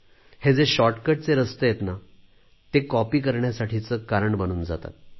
हे जे शॉर्टकटचे रस्ते आहेत ते कॉपी करण्यासाठीचे कारण बनून जातात